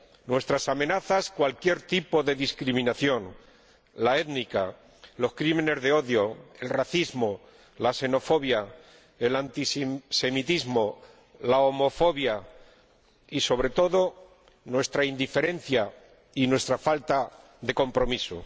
nuestras amenazas, cualquier tipo de discriminación —la étnica, los delitos motivados por el odio, el racismo, la xenofobia, el antisemitismo, la homofobia— y, sobre todo, nuestra indiferencia y nuestra falta de compromiso.